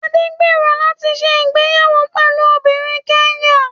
Adé ń gbèrò láti ṣe ìgbéyàwó pẹ̀lú obìnrin Kẹ́nyà